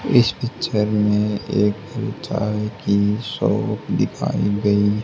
इस पिक्चर में एक मिठाई की शॉप दिखाई गई--